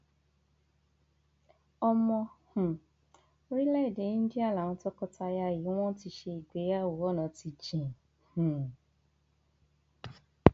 ọmọ um orílẹèdè íńdíà làwọn tọkọtaya yìí wọn ti ṣègbéyàwó ọnà ti jìn um